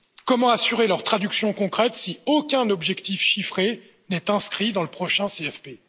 Comment assurer leur traduction concrète si aucun objectif chiffré n'est inscrit dans le prochain CFP?